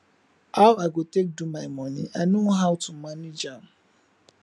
how i go take do my money i know how to manage am